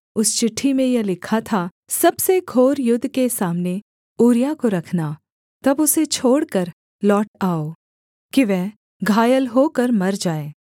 उस चिट्ठी में यह लिखा था सबसे घोर युद्ध के सामने ऊरिय्याह को रखना तब उसे छोड़कर लौट आओ कि वह घायल होकर मर जाए